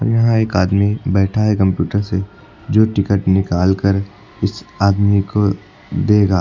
यहां एक आदमी बैठा है कंप्यूटर से जो टिकट निकाल कर इस आदमी को देगा।